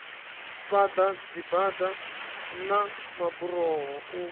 fhaḓa dzibada na maburoho u